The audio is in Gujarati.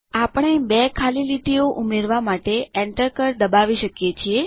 આપણે બે ખાલી લીટીઓ ઉમેરવા માટે એન્ટર કળ દબાવી શકીએ છીએ